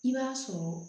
I b'a sɔrɔ